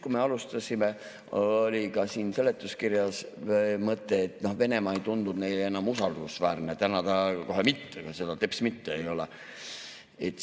Kui me alustasime, oli ka siin seletuskirjas mõte, et Venemaa ei tundunud neile enam usaldusväärne, täna ta ei ole kohe seda teps mitte.